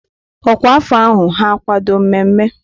Ọkwa afọ ahụ ha akwado mmemme?